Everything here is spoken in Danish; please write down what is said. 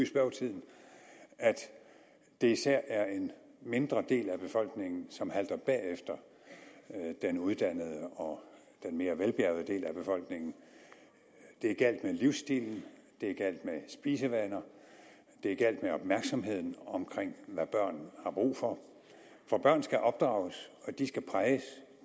at det især er en mindre del af befolkningen som halter bagefter den uddannede og den mere velbjærgede del af befolkningen det er galt med livsstilen det er galt med spisevanerne det er galt med opmærksomheden om hvad børn har brug for for børn skal opdrages og de skal præges